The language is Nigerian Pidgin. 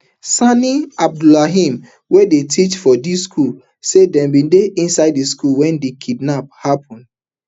sani abdullahi wey dey teach for di school say dem bin dey inside di school wen di kidnap happun